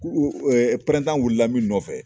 wuli la min nɔfɛ.